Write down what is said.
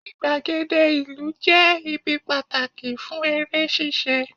igbagede ìlú je ibi pàtàkì fún eré ṣíṣe